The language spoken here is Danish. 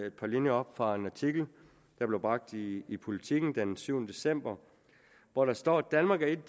et par linjer op fra en artikel der blev bragt i i politiken den syvende december hvor der står danmark er et